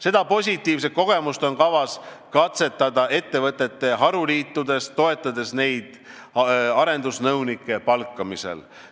Seda positiivset kogemust on kavas katsetada ettevõtete haruliitudes, toetades neid arendusnõunike palkamisel.